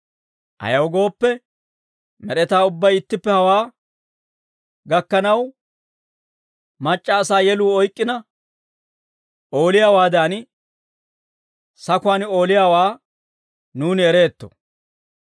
Ayaw gooppe, med'etaa ubbay ittippe hawaa gakkanaw, mac'c'a asaa yeluu oyk'k'ina ooliyaawaadan, sakuwaan ooliyaawaa nuuni ereetto.